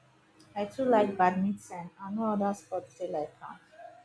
i too like badminton and no other sport dey like am